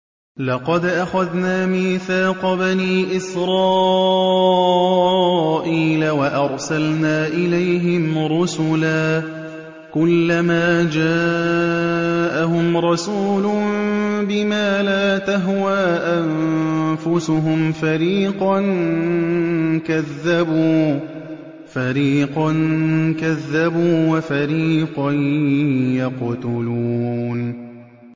لَقَدْ أَخَذْنَا مِيثَاقَ بَنِي إِسْرَائِيلَ وَأَرْسَلْنَا إِلَيْهِمْ رُسُلًا ۖ كُلَّمَا جَاءَهُمْ رَسُولٌ بِمَا لَا تَهْوَىٰ أَنفُسُهُمْ فَرِيقًا كَذَّبُوا وَفَرِيقًا يَقْتُلُونَ